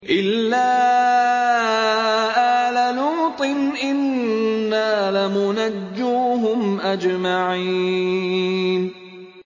إِلَّا آلَ لُوطٍ إِنَّا لَمُنَجُّوهُمْ أَجْمَعِينَ